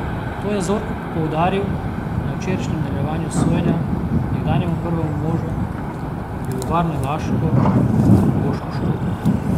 To je Zorko poudaril na včerajšnjem nadaljevanju sojenja nekdanjemu prvemu možu Pivovarne Laško Bošku Šrotu.